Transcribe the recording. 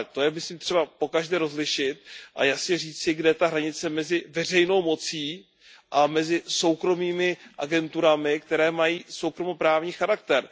To je myslím třeba pokaždé rozlišit a jasně říci, kde je ta hranice mezi veřejnou mocí a mezi soukromými agenturami, které mají soukromoprávní charakter.